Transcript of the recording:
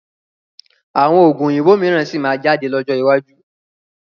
Àwọn Oògùn òyìnbó mìíràn síí má jáde lọ́jọ́ iwájú